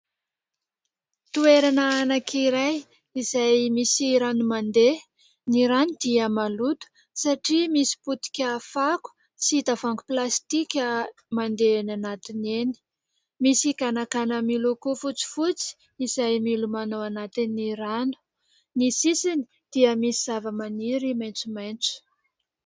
Toerana anankiray izay misy rano mandeha. Ny rano dia maloto satria misy potika fako sy tavoahangy plastika mandeha eny anatiny eny. Misy ganagana miloko fotsifotsy izay milomano ao anatin'ny rano. Ny sisiny dia misy zavamaniry maitsomaitso.